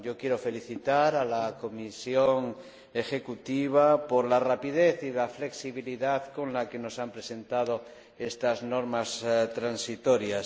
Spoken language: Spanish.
Yo quiero felicitar a la comisión ejecutiva por la rapidez y la flexibilidad con las que nos ha presentado estas normas transitorias.